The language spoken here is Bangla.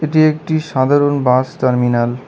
এটি একটি সাধারণ বাস টার্মিনাল ।